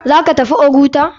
Zaka tafi oguta?